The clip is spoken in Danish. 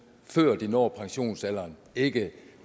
før de når pensionsalderen ikke